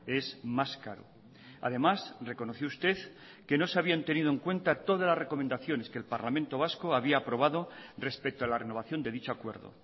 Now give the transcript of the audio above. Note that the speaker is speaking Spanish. es más caro además reconoció usted que no se habían tenido en cuenta todas las recomendaciones que el parlamento vasco había aprobado respecto a la renovación de dicho acuerdo